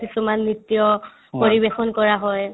কিছুমান নৃত্য পৰিৱেশন কৰা হয়